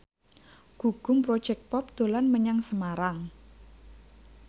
Gugum Project Pop dolan menyang Semarang